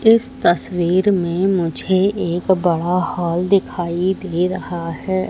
इस तस्वीर में मुझे एक बड़ा हॉल दिखाई दे रहा है।